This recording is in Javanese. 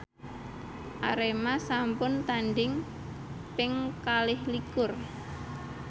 Arema sampun tandhing ping kalih likur